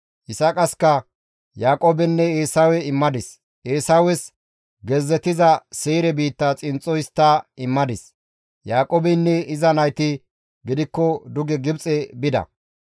Yisaaqaska Yaaqoobenne Eesawe immadis. Eesawes gezzetiza Seyre biitta xinxxo histta immadis; Yaaqoobeynne iza nayti gidikko duge Gibxe bida.